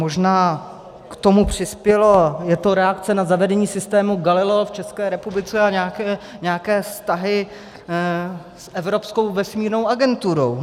Možná k tomu přispělo, je to reakce na zavedení systéme Galileo v České republice a nějaké vztahy s Evropskou vesmírnou agenturou.